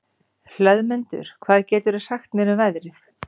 Hlöðmundur, hvað geturðu sagt mér um veðrið?